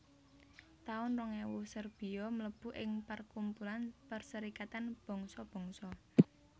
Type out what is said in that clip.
taun rong ewu Serbia mlebu ing parkumpulan Perserikatan Bangsa Bangsa